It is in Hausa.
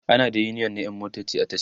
ana da uniyon na ƴan motoci a tasha